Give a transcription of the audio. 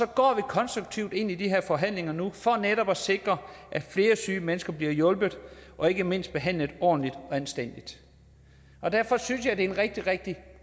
går konstruktivt ind i de her forhandlinger nu for netop at sikre at flere syge mennesker bliver hjulpet og ikke mindst behandlet ordentligt og anstændigt derfor synes jeg er en rigtig rigtig